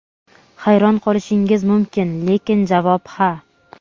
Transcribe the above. Hayron qolishingiz mumkin, lekin javob ha.